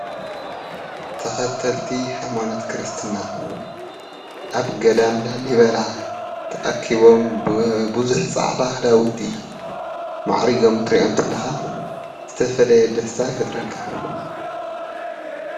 ተከተልቲ ሃይማኖት ክርስትና ኣብ ገዳም ላሊባላ ተኣኪቦም ብብዙሕ ፃዕዳ ክዳውንቲ ማዕሪጎም ክትሪኦም ከለካ ዝተፈለየ ደስታ ይፈጥረልካ ።